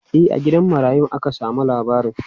E, a gidan marayun aka samo labarin.